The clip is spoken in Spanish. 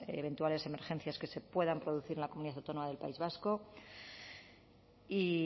eventuales emergencias que se puedan producir en la comunidad autónoma del país vasco y